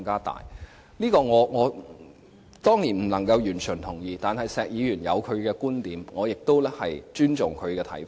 對此，我當然不能完全同意，但石議員有他的觀點，我亦尊重他的看法。